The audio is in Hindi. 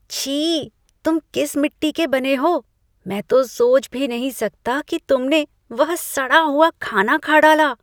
छी!, तुम किस मिट्टी के बने हो? मैं तो सोच भी नहीं सकता कि तुमने वह सड़ा हुआ खाना खा डाला!